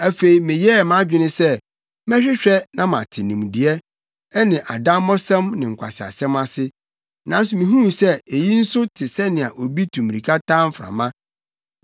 Afei meyɛɛ mʼadwene sɛ mɛhwehwɛ na mate nimdeɛ, ne adammɔsɛm ne nkwaseasɛm ase. Nanso mihuu sɛ eyi nso te sɛnea obi tu mmirika taa mframa.